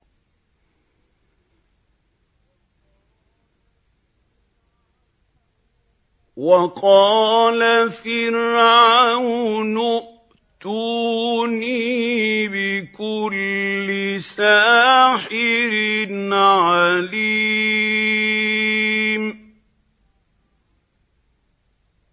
وَقَالَ فِرْعَوْنُ ائْتُونِي بِكُلِّ سَاحِرٍ عَلِيمٍ